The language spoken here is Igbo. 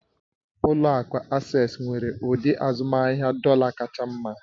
Ụlọ akụ Asés nwere ụdị azụmahịa dọ̀là r kacha mma